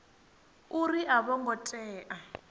uri a vho ngo tea